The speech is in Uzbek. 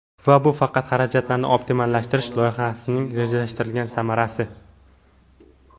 Va bu faqat xarajatlarni optimallashtirish loyihasining rejalashtirilgan samarasi.